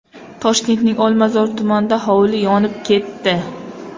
Toshkentning Olmazor tumanida hovli yonib ketdi.